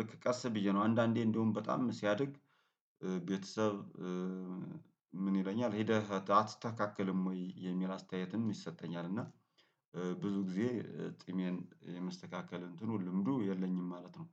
ልክ ቀስ ብዬ ነው አንዳንዴ እንደውም በጣም ሲያድግ ቤተሰብ ምን ይለኛል ሄደህ አትስተካከልም ወይ የሚል አስተያየትም ይሰጠኛል። እና ብዙ ጊዜ ጺሜን የመስተካከል እንትኑ ልምዱ የለኝም ማለት ነው።